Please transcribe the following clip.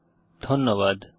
অংশগ্রহনের জন্য ধন্যবাদ